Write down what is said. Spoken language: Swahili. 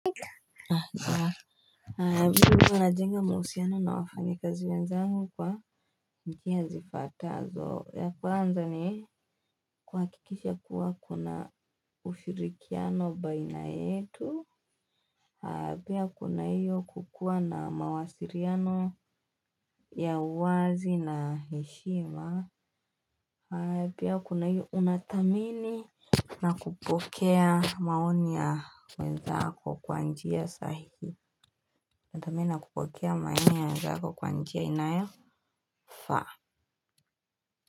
Mimi huwa najenga mahusiano na wafanyakazi wenzangu kwa njia zifuatazo ya kwanza ni kuhakikisha kuwa kuna ushirikiano baina yetu. Pia kuna hiyo kukuwa na mawasiliano ya uwazi na heshima. Pia kuna hiyo unathamini. Nakupokea maoni ya wenzako kwa njia sahihi. Nathamini nakupokea maoni ya wenzako kwa njia inayofaa.